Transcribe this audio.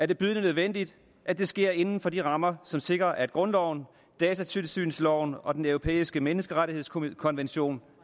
det bydende nødvendigt at det sker inden for de rammer som sikrer at grundloven datatilsynsloven og den europæiske menneskerettighedskonvention